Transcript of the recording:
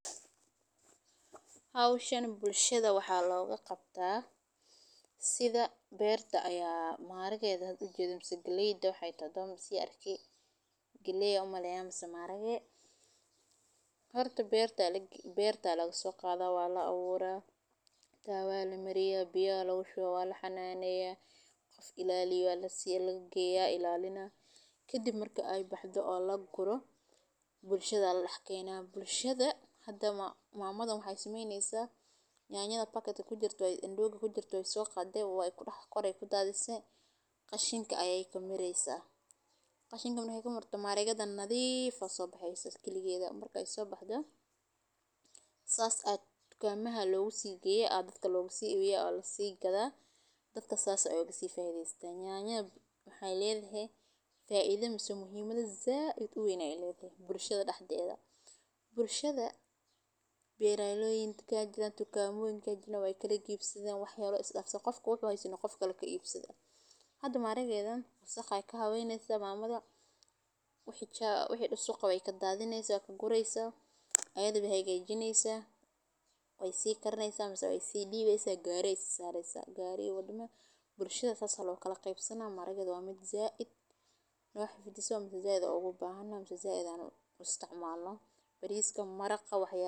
Howshaan Bulshada waxa logu qabta sida berta aya Maarageeeda u jidham si geliyda waxay tado masi arki gely ah u muleeyamaysa maareega. Harta beerta laga beerta lagaga soo qaadaa waa la awooraa, taawa loo maraya biyo loogu shubaa waa la xanaanayaa, qof ilaaliyo la sii la geeyaa ilaalinaya. Ka dib marka ay baxdo oo la guro bulshada la xakaynaa bulshada. Hadda maamad maamad waxay samaynaysa nyaanyada paka ku jirto in looga ku jirto ay soo qaaday waayo ah. Qoray ku daadaysan qashinka ayay ka mireysaa, qashinka muna haysa maro maareegga dan nadiif ah oo soo bahaysa iskiiligeeda. Marka ay soo baxdo saas, kama loogu sii gayay aadka loogu sii wey oo loo sii gadaa, dadka saas ah oo sii faa iideystay. Nyana waxay leedahay faa iideys muhiimada zaad u wanaagsan bulshada dhaxdeeda bulshada. Beeray loo yeerin kaa jiraan tukaamooyin ka jiraan way kale kii ibsadeena waxyaalo islaafso qofka weyn way sinno qof kale ka iibsada. Hadda maaregeeda sax ah ka habo inaad saamadaan maamada. Wixii shacab waxay dhaso qoqoy ka daadineysa ka guraysa ayadoo bihayga ay jineysaa way sii karnaysa masuul way sii dhiibsaysa gaaraysa saaraysa gaari wadana bulshada. Sasa loo kala qeexsanaa maareegyada wa mid zaad nolosha fiddiso mid zaada ugu baahna mid zaada u isticmaalno bariiska mara qaba haysta.